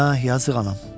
Əh, yazıq anam.